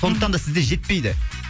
сондықтан да сізде жетпейді